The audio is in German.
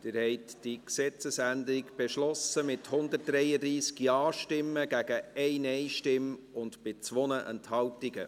Sie haben die Gesetzesänderung beschlossen, mit 133 Ja-Stimmen gegen 1 Nein-Stimme und bei 2 Enthaltungen.